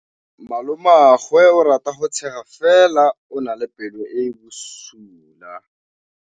Malomagwe o rata go tshega fela o na le pelo e e bosula.